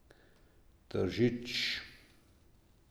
Tržič.